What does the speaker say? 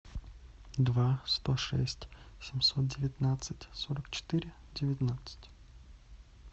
два сто шесть семьсот девятнадцать сорок четыре девятнадцать